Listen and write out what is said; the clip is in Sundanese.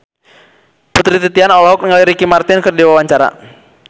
Putri Titian olohok ningali Ricky Martin keur diwawancara